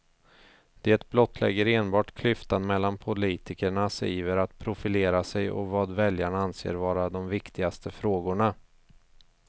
Det blottlägger enbart klyftan mellan politikernas iver att profilera sig och vad väljarna anser vara de viktigaste frågorna.